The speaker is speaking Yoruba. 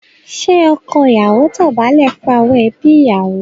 Ṣé ọkọ ìyàwó dọ̀bálẹ̀ fún àwọn ẹbí ìyàwó?